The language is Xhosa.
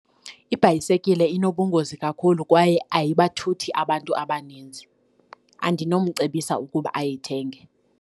Ibhayisekile inobungozi kakhulu kwaye ayibathuthi abantu abaninzi. Andinomcebisa ukuba ayithenge.